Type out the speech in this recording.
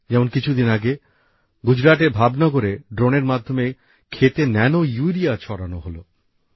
যেমন কিছুদিন আগে গুজরাতের ভাবনগরে ড্রোনের মাধ্যমে ক্ষেতে ন্যানোইউরিয়া ছড়ানো হল